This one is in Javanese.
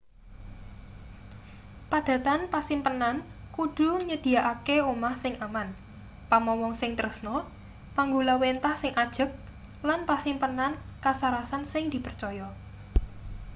padatan pasimpenan kudu nyedhiyakake omah sing aman pamomong sing tresna panggulawenthah sing ajeg lan pasimpenan kasarasan sing dipercaya